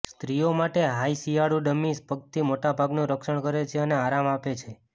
સ્ત્રીઓ માટે હાઈ શિયાળુ ડમીસ પગથી મોટા ભાગનું રક્ષણ કરે છે અને આરામ આપે છે